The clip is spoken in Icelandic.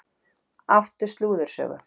Áttu slúðursögu?